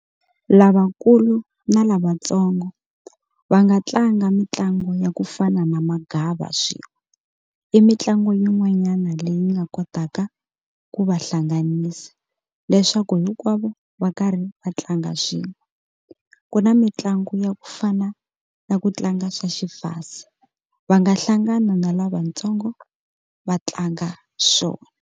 Lavankulu na lavatsongo va nga tlanga mitlangu ya ku fana na magava swin'we i mitlangu yin'wanyana leyi nga kotaka ku va hlanganisa leswaku hinkwavo va karhi va tlanga swin'we ku na mitlangu ya ku fana na ku tlanga swa xifase va nga hlangana na lavatsongo va tlanga swona.